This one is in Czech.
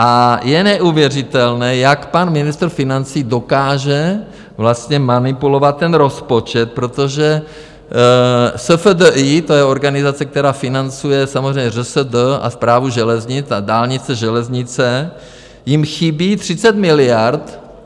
A je neuvěřitelné, jak pan ministr financí dokáže vlastně manipulovat ten rozpočet, protože SFDI, to je organizace, která financuje samozřejmě ŘSD a Správu železnic a dálnice, železnice, jim chybí 30 miliard.